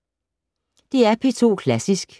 DR P2 Klassisk